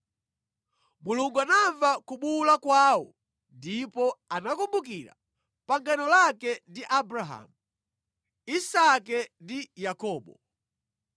Mulungu anamva kubuwula kwawo ndipo anakumbukira pangano lake ndi Abrahamu, Isake ndi Yakobo.